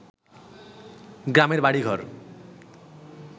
গ্রামের বাড়িঘর